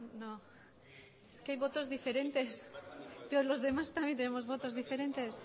no es que hay votos diferentes pero los demás también tenemos votos diferentes